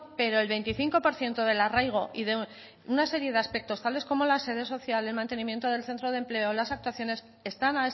pero el veinticinco por ciento del arraigo y de una serie de aspectos tales como la sede social el mantenimiento del centro de empleo las actuaciones están